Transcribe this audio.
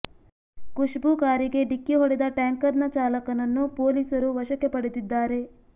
ಖುಷ್ಬು ಕಾರಿಗೆ ಡಿಕ್ಕಿ ಹೊಡೆದ ಟ್ಯಾಂಕರ್ನ ಚಾಲಕನನ್ನು ಪೊಲೀಸರು ವಶಕ್ಕೆ ಪಡೆದಿದ್ದಾರೆ